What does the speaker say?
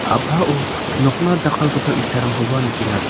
a·pao nokna jakkalgipa itarangkoba nikenga.